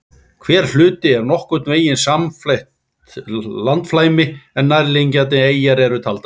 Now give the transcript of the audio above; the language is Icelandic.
Hver hluti er nokkurn veginn samfellt landflæmi en nærliggjandi eyjar eru taldar með.